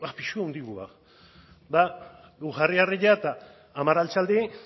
pisu handigoa guk jarri harria eta hamar altxaldi